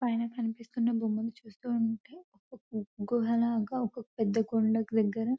పైన కనిపిస్తున బొమ్మలు చూస్తూ ఉంటే గుహలా గా ఒక పెద్ద కొండ దగ్గర --